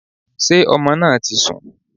Sé ọmọ náà ti sùn?